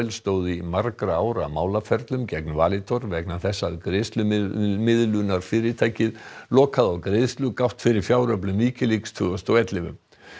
stóðu í margra ára málaferlum gegn Valitor vegna þess að greiðslumiðlunarfyrirtækið lokaði á greiðslugátt fyrir fjáröflun Wikileaks tvö þúsund og ellefu